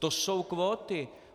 To jsou kvóty.